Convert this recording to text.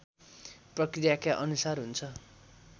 प्रक्रियाका अनुसार हुन्छ